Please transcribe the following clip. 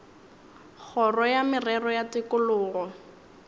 kgoro ya merero ya tikologo